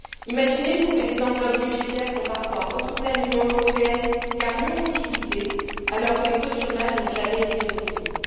Imaginez vous que des enveloppes budgétaires sont parfois retournées à l'Union européenne car non utilisées alors que les taux de chômage n'ont jamais été aussi hauts.